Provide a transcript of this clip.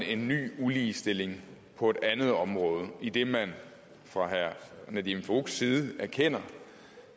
en ny uligestilling på et andet område idet man fra herre nadeem farooqs side erkender